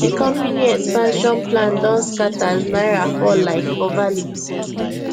the company expansion plan don scatter as naira fall like for value